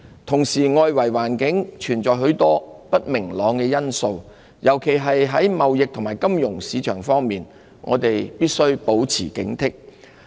同時，外圍環境存在許多不明朗因素，尤其在貿易和金融市場方面，我們必須保持警惕。